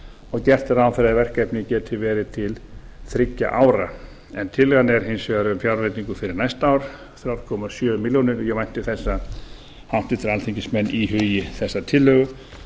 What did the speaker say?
og gert er ráð fyrir að verkefnið geti verið til þriggja ára tillagan er hins vegar um fjárveitingu fyrir næsta ár þrjú komma sjö milljónir og ég vænti þess að háttvirtir alþingismenn íhugi þessa tillögu